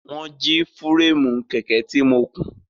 Wọ́n jí fúréèmù kẹ̀kẹ́ tí mo kùn.